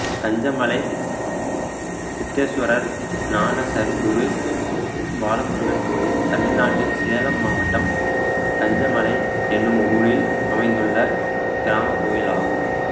கஞ்சமலை சித்தேசுவரர் ஞானசற்குரு பாலமுருகன் கோயில் தமிழ்நாட்டில் சேலம் மாவட்டம் கஞ்சமலை என்னும் ஊரில் அமைந்துள்ள கிராமக் கோயிலாகும்